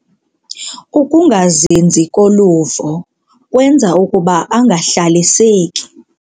Ukungazinzi koluvo kwenza ukuba angahlaliseki.